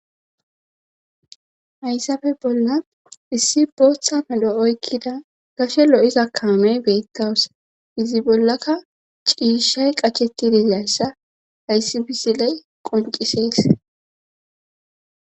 hayssafe bolla issi booththa medho oykkida gashe lo7iza kaamey beettawusa izi bollaka ciishay qachetti diziassa haysi misiley qonciseys